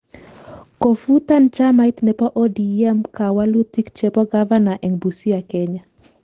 Kofutan chamait nebo ODM kawalutik chebo gavana eng busia Kenya